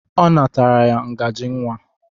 Ọ natara ya ngajị nwa.